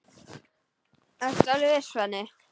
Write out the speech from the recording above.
Ertu alveg viss, Svenni?